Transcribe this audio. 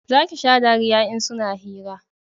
za ki sha dariya in suna hira